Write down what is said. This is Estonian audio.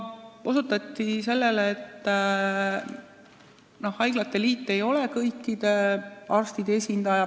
Osutati ka sellele, et haiglate liit ei ole kõikide arstide esindaja.